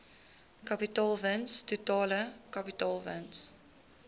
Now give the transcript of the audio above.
kapitaalwins totale kapitaalwins